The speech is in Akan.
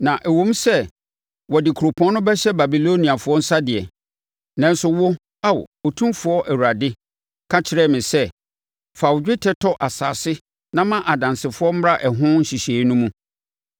Na ɛwom sɛ wɔde kuropɔn no bɛhyɛ Babiloniafoɔ nsa deɛ, nanso wo, Ao, Otumfoɔ Awurade, ka kyerɛ me sɛ, ‘Fa dwetɛ tɔ asase na ma adansefoɔ mmra ɛho nhyehyɛeɛ no mu.’ ”